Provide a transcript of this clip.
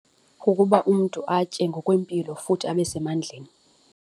Kukuba umntu atye ngokwempilo futhi abe semandleni.